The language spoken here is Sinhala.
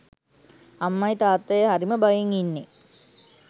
අම්මයි තාත්තයි හරිම බයෙන් ඉන්නේ